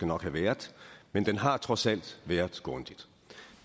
nok have været men den har trods alt været grundig